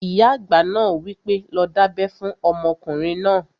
Ìyá àgbà náà wí pé, 'lọ dábẹ́ fún ọmọkùnrin náà!"